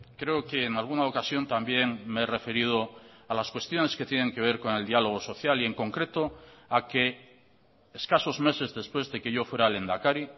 creo que en alguna ocasión también me he referido a las cuestiones que tienen que ver con el diálogo social y en concreto a que escasos meses después de que yo fuera lehendakari